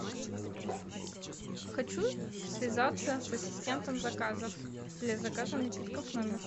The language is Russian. хочу связаться с ассистентом заказов для заказа напитков в номер